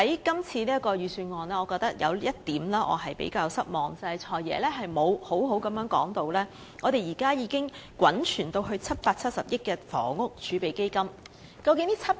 今次預算案有一點令我比較失望，就是"財爺"未有妥善交代現時已滾存至770億元的房屋儲備金的情況。